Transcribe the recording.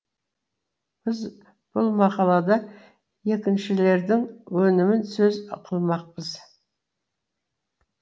біз бұл мақалада екіншілердің өнімін сөз қылмақпыз